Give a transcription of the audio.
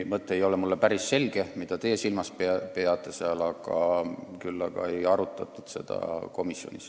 Mulle ei ole päris selge selle termini mõte, see, mida teie silmas peate, aga komisjonis seda ei arutatud.